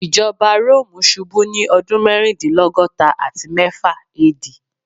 Ijọba Romu ṣubu ni ọdun mẹrindilọgọta ati mẹfa AD